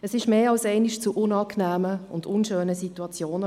Es kam mehr als einmal zu unangenehmen und unschönen Situationen.